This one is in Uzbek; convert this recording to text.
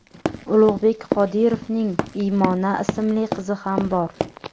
Ulug‘bek Qodirovning Iymona ismli qizi ham bor.